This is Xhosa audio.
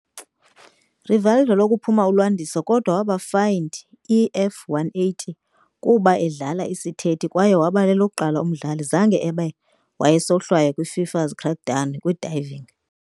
Rivaldo lokuphuma ulwandiso kodwa waba fined E F180 kuba dlala-isithethi, kwaye waba lokuqala umdlali zange abe wayesohlwaywa kwi-FIFA's crackdown kwi-diving.